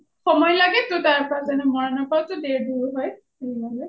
সময় লাগেটো তাৰ পৰা মৰাণৰ পৰাওটো দুৰ হয়